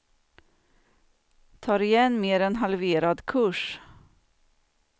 Tar igen mer än halverad kurs.